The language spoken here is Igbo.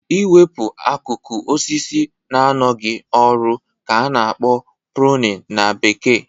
I wepụ akụkụ osisi na-anọghị ọrụ ka a na-akpọ "pruning" na bekee